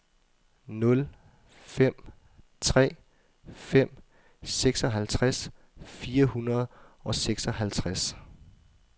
nul fem tre fem seksoghalvtreds fire hundrede og seksoghalvtreds